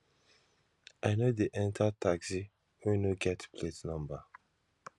i no dey enta taxi wey no get plate number